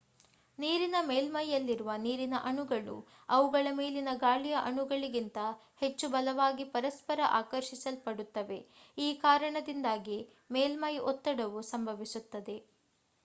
ನೀರಿನ ಮೇಲ್ಮೈಯಲ್ಲಿರುವ ನೀರಿನ ಅಣುಗಳು ಅವುಗಳ ಮೇಲಿನ ಗಾಳಿಯ ಅಣುಗಳಿಗಿಂತ ಹೆಚ್ಚು ಬಲವಾಗಿ ಪರಸ್ಪರ ಆಕರ್ಷಿಸಲ್ಪಡುತ್ತವೆ ಈ ಕಾರಣದಿಂದಾಗಿ ಮೇಲ್ಮೈ ಒತ್ತಡವು ಸಂಭವಿಸುತ್ತದೆ